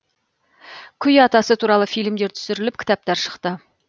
күй атасы туралы фильмдер түсіріліп кітаптар шықты